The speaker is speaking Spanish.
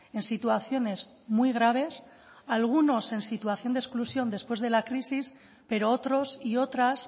en situaciones muy graves algunos en situación de exclusión después de la crisis pero otros y otras